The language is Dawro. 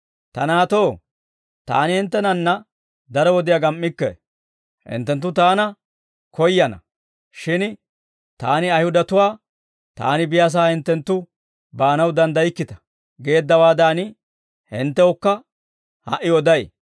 Ta naatoo, Taani hinttenanna daro wodiyaa gam"ikke. Hinttenttu Taana koyyana; shin Taani Ayihudatuwaa, ‹Taani biyaasaa hinttenttu baanaw danddaykkita› geeddawaadan, hinttewukka ha"i oday.